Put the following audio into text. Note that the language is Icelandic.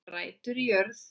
Rætur í jörð